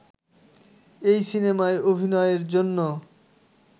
এই সিনেমায় অভিনয়ের জন্য